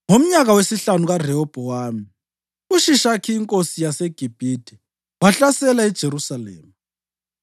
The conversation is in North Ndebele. Ngomnyaka wesihlanu kaRehobhowami, uShishakhi inkosi yaseGibhithe wahlasela iJerusalema.